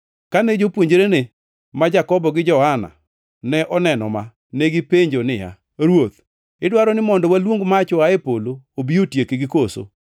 Kane jopuonjrene ma Jakobo gi Johana ne oneno ma, negipenjo niya, “Ruoth, idwaro ni mondo waluong mach oa e polo obi otiekgi koso?”